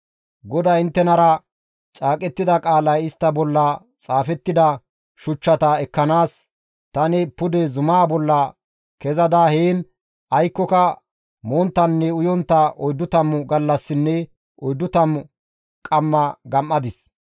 GODAY inttenara caaqettida qaalay istta bolla xaafettida shuchchata ekkanaas tani pude zumaa bolla kezada heen aykkoka monttanne uyontta oyddu tammu gallassinne oyddu tammu qamma gama7adis.